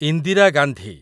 Indira Gandhi